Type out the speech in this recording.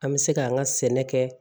An bɛ se k'an ka sɛnɛ kɛ